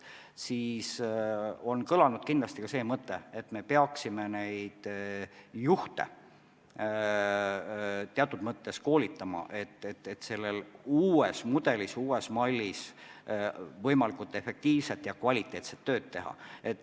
Kindlasti on kõlanud ka mõte, et me peaksime juhte teatud moel koolitama, et nad oskaksid selles uues mudelis, uues mallis võimalikult efektiivset ja kvaliteetset tööd teha.